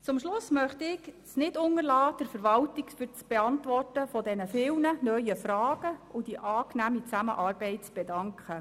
Zum Schluss möchte ich es nicht unterlassen, der Verwaltung für die Beantwortung der vielen neuen Fragen und die angenehme Zusammenarbeit zu danken.